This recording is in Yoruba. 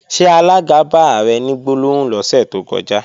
Ṣé alága bá Ààrẹ ní gbólóhùn lọ́sẹ̀ tó kọjá?